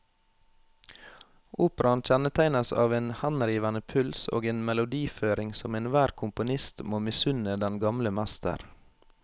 Operaen kjennetegnes av en henrivende puls og en melodiføring som enhver komponist må misunne den gamle mester.